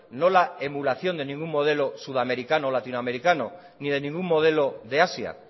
no la emulación de ningún modelo sudamericano latinoamericano ni de ningún modelo de asía